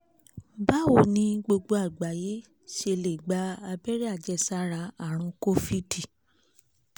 báwo ni gbogbo àgbáyé ṣe lè gba abẹ́rẹ́ àjẹsára àrùn covid